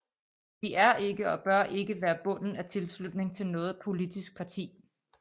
De er ikke og bør ikke være bunden af tilslutning til noget politisk parti